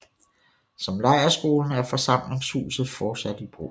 Som lejrskolen er forsamlingshuset fortsat i brug